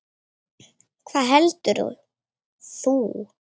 Hvað heldur þú?